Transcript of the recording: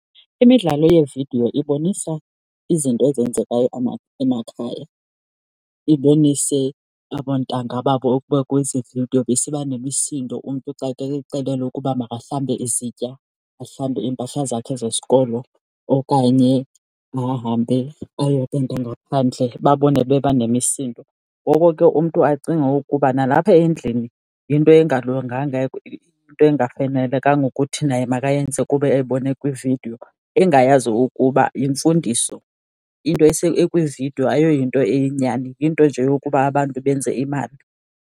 Imidlalo yeevidiyo ibonisa izinto ezenzekayo emakhaya. Ibonise abontanga babo ukuba kwezi vidiyo besiba nemisindo umntu xa kexelelwa ukuba makahlambe izitya, ahlambe iimpahla zakhe zesikolo okanye ahambe ayocanda ngaphandle babone banemisindo. Ngoko ke umntu acinge ukuba nalapha endlini yinto engalunganga into engafanelekanga ukuthi naye makayenze kuba ebona kwividiyo, engayazi ukuba yimfundiso. Into ekwividiyo ayoyinto iyinyani, yinto nje yokuba abantu benze imali.